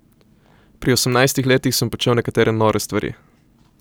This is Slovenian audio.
Pri osemnajstih letih sem počel nekatere nore stvari.